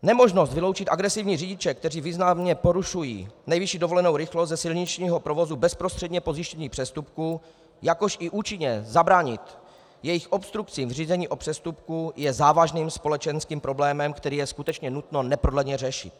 Nemožnost vyloučit agresivní řidiče, kteří významně porušují nejvyšší povolenou rychlost, ze silničního provozu bezprostředně po zjištění přestupku, jakož i účinně zabránit jejich obstrukcím v řízení o přestupku je závažným společenským problémem, který je skutečně nutno neprodleně řešit.